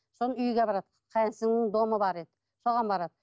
соны үйге барады қайын сіңлімнің домы бар еді соған барады